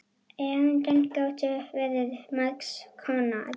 Erindin gátu verið margs konar.